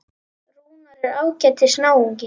Rúnar er ágætis náungi.